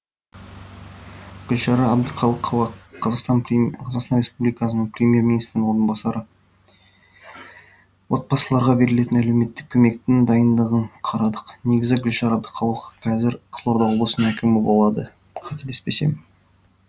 гүлшара әбдіқалықова қазақстан республикасының премьер министрінің орынбасары отбасыларға берілетін әлеуметтік көмектің дайындығын қарадық негізі гүлшара әбдіқалықова қызылорда облысының әкімі болады қателеспесем